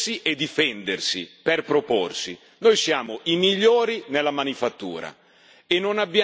Noi siamo i migliori nella manifattura e non abbiamo una grande quantità di materie prime.